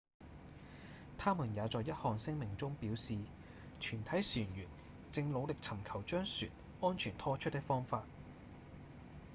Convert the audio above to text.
他們也在一項聲明中表示：「全體船員正努力尋求將船安全拖出的方法」